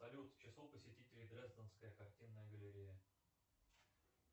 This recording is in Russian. салют число посетителей дрезденская картинная галерея